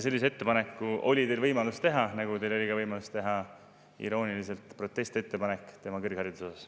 Sellist ettepanekut oli teil võimalus teha, nagu teil oli ka võimalus teha irooniliselt protestiettepanek tema kõrghariduse kohta.